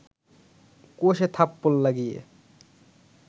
কষে থাপ্পড় লাগিয়ে